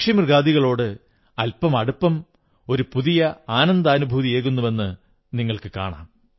പക്ഷിമൃഗാദികളോട് അൽപം അടുപ്പം ഒരു പുതിയ ആനന്ദാനുഭൂതിയേകുന്നുവെന്ന് നിങ്ങൾക്കും കാണാം